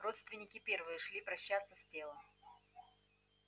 родственники первые пошли прощаться с телом